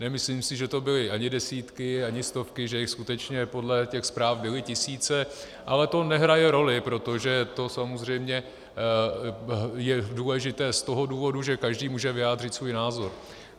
Nemyslím si, že to byly ani desítky, ani stovky, že jich skutečně podle těch zpráv byly tisíce, ale to nehraje roli, protože to samozřejmě je důležité z toho důvodu, že každý může vyjádřit svůj názor.